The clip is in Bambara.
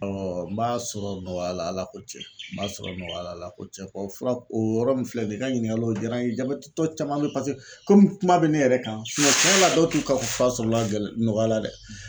n b'a sɔrɔ nɔgɔya la Ala ko cɛn n b'a sɔrɔ nɔgɔya la Ala ko cɛn ko fura o yɔrɔ min filɛ nin ye i ka ɲininkali o jaara n ye jabɛtitɔ caman bɛ ye paseke komi kuma bɛ ne yɛrɛ kan cɛn yɛrɛ la dɔw t'u ka fura sɔrɔ nɔgɔya la dɛ.